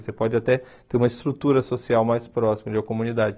Você pode até ter uma estrutura social mais próxima de uma comunidade.